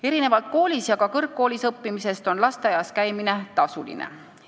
Erinevalt koolis ja ka kõrgkoolis õppimisest on lasteaias käimine tasuline.